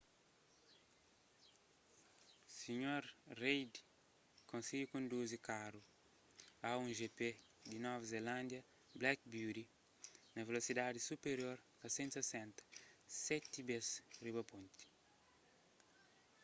o sr. reid konsigi konduzi karu a1gp di nova zelándia black beauty na velosidadis supirior a 160km/h seti bês riba ponti